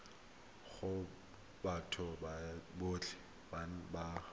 go batho botlhe ba ba